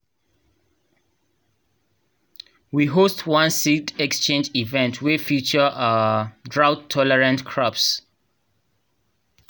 we host one seed exchange event wey feature um drought-tolerant crops.